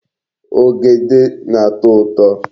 Ogede na-ato uto